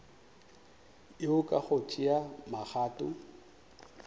yeo ka go tšea magato